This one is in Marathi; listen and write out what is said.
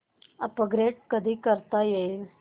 अपग्रेड कधी करता येईल